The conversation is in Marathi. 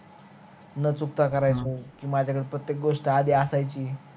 न चुकता करायचो कि माझ्याकळ प्रत्यक गोष्ट आधी असायची